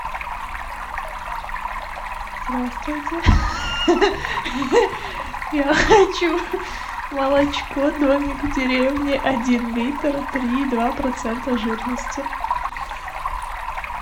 здравствуйте я хочу молочко домик в деревне один литр три и два процента жирности